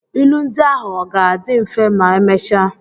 Ilu ndi ahụ ọ ga-adị mfe ma emechaa?